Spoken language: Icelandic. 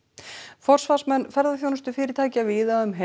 forsvarsmenn ferðaþjónustufyrirtækja víða